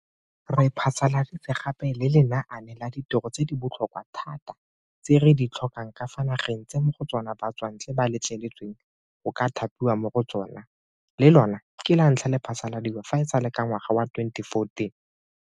Re phasaladitse gape le Lenaane la Ditiro tse di Botlhokwa Thata tse re di Tlhokang ka fa Nageng tse mo go tsona Batswantle ba Letleletsweng go ka Thapiwa mo go Tsona, le lona ke lantlha le phasaladiwa fa e sale ka ngwaga wa 2014.